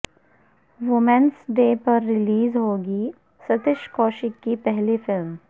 women's day پر release ہوگی سشش کوشیک کی پہلی فلم